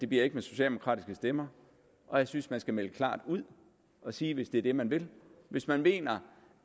bliver med socialdemokratiske stemmer og jeg synes man skal melde klart ud og sige hvis det er det man vil hvis man mener